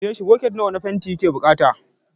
Ka tambayi shi, bucket nawa na fanti yake bukata gobe.